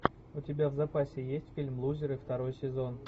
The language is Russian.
у тебя в запасе есть фильм лузеры второй сезон